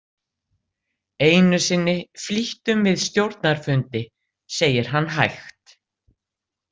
Einu sinni flýttum við stjórnarfundi, segir hann hægt.